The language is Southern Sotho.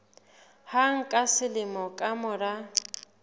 hang ka selemo ka mora